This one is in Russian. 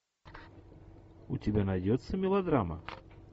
у тебя найдется мелодрама